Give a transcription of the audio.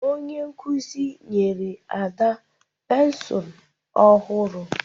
Onye nkuzi nyere Ada pensụl ọhụrụ